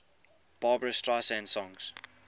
barbra streisand songs